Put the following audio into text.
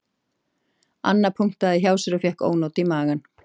Anna punktaði hjá sér og fékk ónot í magann